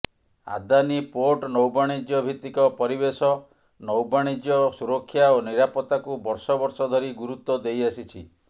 Adani port ନୌବାଣିଜ୍ୟ ଭିତ୍ତିକ ପରିବେଶ ନୌବାଣିଜ୍ୟ ସୁରକ୍ଷା ଏବଂ ନିରାପତ୍ତାକୁ ବର୍ଷ ବର୍ଷ ଧରି ଗୁରୁତ୍ୱ ଦେଇଆସିଛି